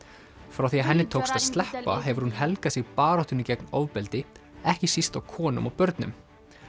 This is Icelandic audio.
frá því að henni tókst að sleppa hefur hún helgað sig baráttunni gegn ofbeldi ekki síst á konum og börnum